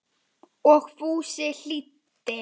Og Fúsi hlýddi.